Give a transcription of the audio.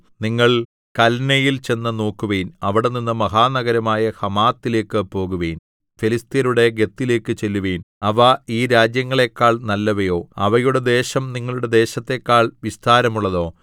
നിങ്ങൾ കല്നെയിൽ ചെന്നു നോക്കുവിൻ അവിടെനിന്ന് മഹാനഗരമായ ഹമാത്തിലേക്ക് പോകുവിൻ ഫെലിസ്ത്യരുടെ ഗത്തിലേക്ക് ചെല്ലുവിൻ അവ ഈ രാജ്യങ്ങളെക്കാൾ നല്ലവയോ അവയുടെ ദേശം നിങ്ങളുടെ ദേശത്തെക്കാൾ വിസ്താരമുള്ളതോ